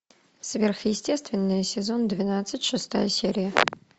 сверхъестественное сезон двенадцать шестая серия